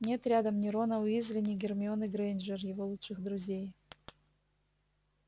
нет рядом ни рона уизли ни гермионы грэйнджер его лучших друзей